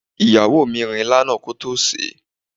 Ìyàwó mi rin ilá náà kótó sèé.